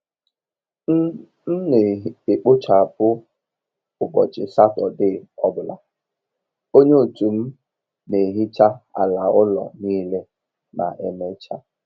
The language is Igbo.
M M n'ekpochapụ ụbọchị Satọde ọ bụla, onye otu m n'ehecha ala ụlọ niile ma emechaa.